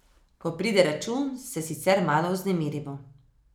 Ko pride račun, se sicer malo vznemirimo.